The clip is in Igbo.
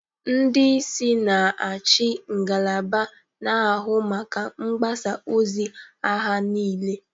Ndị isi na-achị ngalaba na-ahụ maka mgbasa ozi agha niile.